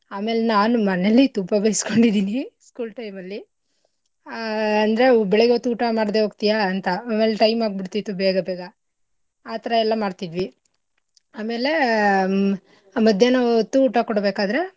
ಆಮೇಲ್ ನಾನ್ ಮನೇಲಿ ತುಂಬಾ ಬೈಸ್ಕೊಂಡಿದಿನಿ school time ಅಲ್ಲಿ ಆಹ್ ಅಂದ್ರೆ ಬೆಳಗ್ಗೆ ಹೊತ್ತು ಊಟ ಮಾಡ್ದೆ ಹೋಗ್ತಿಯಾ ಅಂತ ಆಮೇಲ್ time ಆಗ್ ಬಿಡ್ತಿತ್ತು ಬೆಗಬೇಗ ಆಥರ ಎಲ್ಲಾ ಮಾಡ್ತಿವಿ. ಆಮೇಲೆ ಮಧ್ಯಾಹ್ನ ಹೊತ್ತು ಊಟ ಕೊಡ್ಬೆಕಾದ್ರೆ.